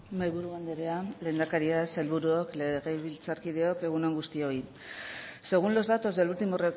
mahaiburu andrea lehendakaria sailburuok legebiltzarkideok egun on guztioi según los datos del último